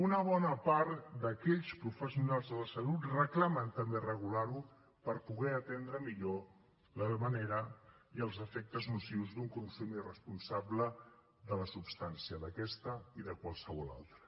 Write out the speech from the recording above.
una bona part d’aquells professionals de la salut reclamen també regular ho per poder atendre millor la manera i els efectes nocius d’un consum irresponsable de la substància d’aquesta i de qualsevol altra